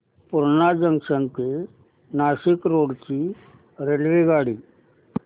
Purna junction ते Nashik road ची रेल्वेगाडी